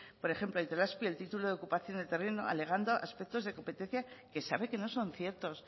por ejemplo a itelazpi el título de ocupación del terreno alegando aspectos de competencia que sabe que no son ciertos